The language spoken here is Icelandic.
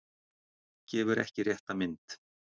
Gefur ekki rétta mynd